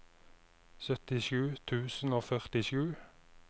syttisju tusen og førtisju